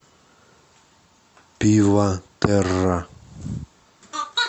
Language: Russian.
пиватерра